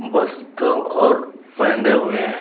वस्तु और पहने हुए है।